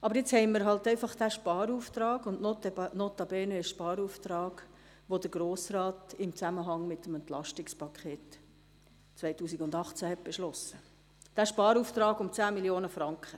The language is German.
Aber jetzt haben wir nun einmal diesen Sparauftrag, notabene einen Sparauftrag, den der Grosse Rat im Zusammenhang mit dem EP 2018 beschlossen hat, den Sparauftrag von 10 Mio. Franken.